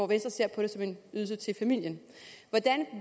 venstre ser på det som en ydelse til familien hvordan